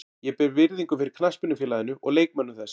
Ég ber virðingu fyrir knattspyrnufélaginu og leikmönnum þess.